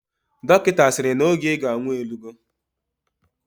Dokita asiri na oge iga anwu elugo?